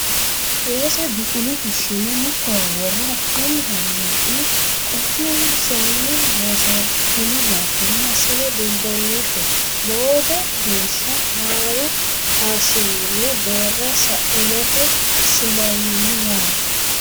Weese duqulo fushshine mittowa wore hakkinni hayane qotinsoni loosatino baattora masine dumbannite boode geeshsha haaru kashiwinni deera sainote simawinni yaate.